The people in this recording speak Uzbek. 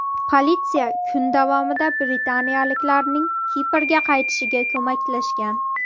Politsiya kun davomida britaniyaliklarning Kiprga qaytishiga ko‘maklashgan.